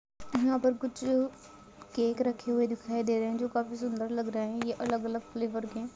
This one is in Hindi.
यहाँ पर कुछ केक रखे हुए दिखाई दे रहे है जो काफी सुन्दर लग रहे है ये अलग अलग फ्लेवर के--